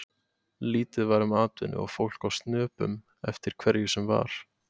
Lítið var um atvinnu og fólk á snöpum eftir hverju sem var.